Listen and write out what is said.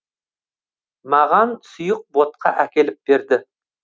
маған сұйық ботқа әкеліп берді